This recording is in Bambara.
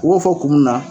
U b'o fɔ kun mun na